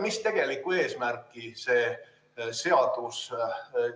Millist tegelikku eesmärki see seadus